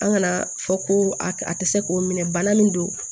An kana fɔ ko a a tɛ se k'o minɛ bana min don